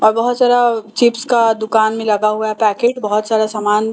अ बहुत सारा चिप्स का दुकान में लगा हुआ है पैकिट बहुत सारा समान --